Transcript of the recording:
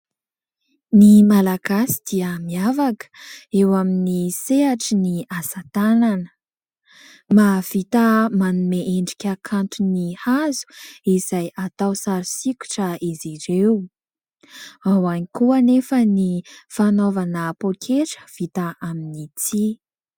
Ny Malagasy dia miavaka eo amin'ny sehatry ny asa tanana ; mahavita manome endrika kanto ny hazo izay atao sary sokitra izy ireo ; ao ihany koa anefa ny fanaovana poketra vita amin'ny tsihy.